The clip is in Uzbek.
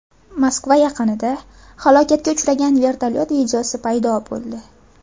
Moskva yaqinida halokatga uchragan vertolyot videosi paydo bo‘ldi.